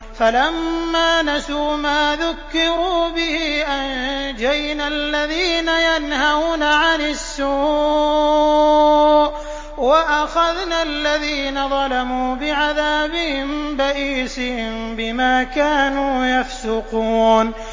فَلَمَّا نَسُوا مَا ذُكِّرُوا بِهِ أَنجَيْنَا الَّذِينَ يَنْهَوْنَ عَنِ السُّوءِ وَأَخَذْنَا الَّذِينَ ظَلَمُوا بِعَذَابٍ بَئِيسٍ بِمَا كَانُوا يَفْسُقُونَ